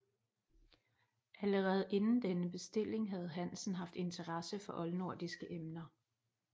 Allerede inden denne bestilling havde Hansen haft interesse for oldnordiske emner